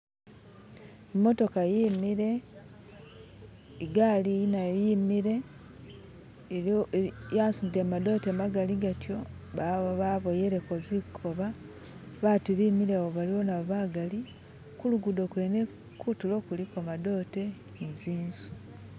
imotoka yimile igali nayo yimile yasutile madote magali gatyo baboyeleko zikoba batu bemilewo baliwo nabo bagali, kulugudo kwene kutulo kuliko madote ni tsinzu.